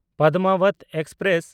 Padmavat express